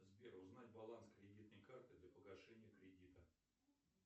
сбер узнать баланс кредитной карты для погашения кредита